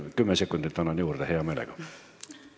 Kümme sekundit annan hea meelega juurde.